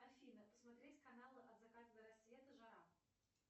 афина посмотреть канал от заката до рассвета жара